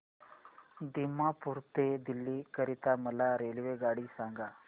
दिमापूर ते दिल्ली करीता मला रेल्वेगाडी सांगा